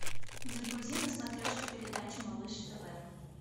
загрузи на смотрешке передачу малыш тв